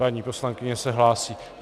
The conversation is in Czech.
Paní poslankyně se hlásí.